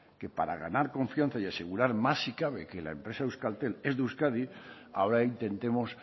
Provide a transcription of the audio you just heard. que para ganar confianza y asegurar más si cabe que la empresa euskaltel es de euskadi ahora intentemos